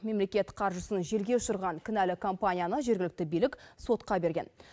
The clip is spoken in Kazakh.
мемлекет қаржысын желге ұшырған кінәлі компанияны жергілікті билік сотқа берген